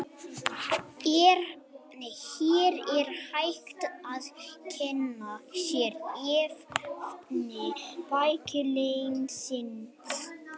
Hér er hægt að kynna sér efni bæklingsins.